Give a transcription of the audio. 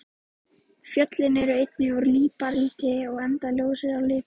Fjöllin eru einnig úr líparíti enda ljós á lit.